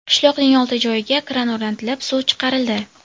Qishloqning olti joyiga kran o‘rnatilib suv chiqarildi.